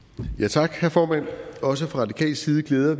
tak herre formand også fra radikal side glæder